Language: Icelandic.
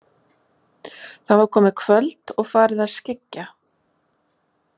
Það var komið kvöld og farið að skyggja.